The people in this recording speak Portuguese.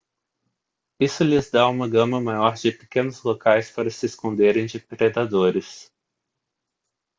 isso lhes dá uma gama maior de pequenos locais para se esconderem de predadores